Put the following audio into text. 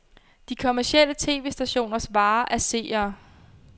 De kommercielle tv-stationers vare er seere.